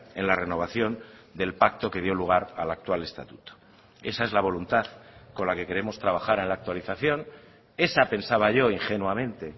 en la renovación del pacto que dio lugar a la actual estatuto esa es la voluntad con la que queremos trabajar en la actualización esa pensaba yo ingenuamente